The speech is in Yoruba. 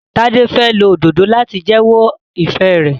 Tade fè ló Òdòdó láti jewo ifẹ rẹ.